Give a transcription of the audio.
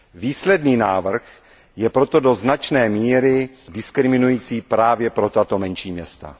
Výsledný návrh je proto do značné míry diskriminující právě pro tato menší města.